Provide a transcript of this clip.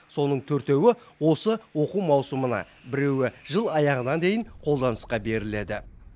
соның төртеуі осы оқу маусымына біреуі жыл аяғына дейін қолданысқа беріледі